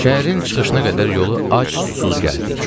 Şəhərin çıxışına qədər yolu ac-susuz gəldik.